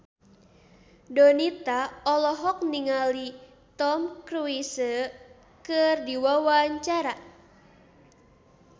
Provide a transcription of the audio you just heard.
Donita olohok ningali Tom Cruise keur diwawancara